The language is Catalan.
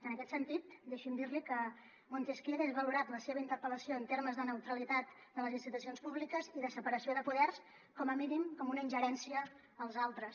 en aquest sentit deixi’m dir li que montesquieu hagués valorat la seva interpel·lació en termes de neutralitat de les institucions públiques i de separació de poders com a mínim com una ingerència als altres